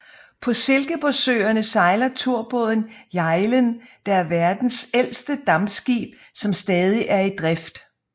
På Silkeborgsøerne sejler turbåden Hjejlen der er verdens ældste dampskib som stadig er i drift